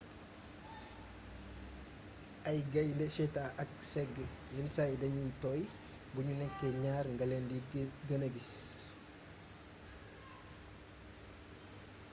ay gayndé cheetahs ak ay ségg yénn say dagniy tooy bugnu nékké gnaar ngalén di geenee gis